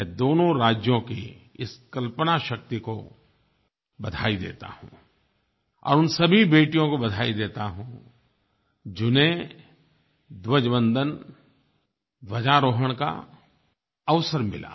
मैं दोनों राज्यों की इस कल्पना शक्ति को बधाई देता हूँ और उन सभी बेटियों को बधाई देता हूँ जिन्हें ध्वजवंदन ध्वजारोहण का अवसर मिला